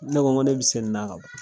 Ne ko ŋo ne be se nin na kaba .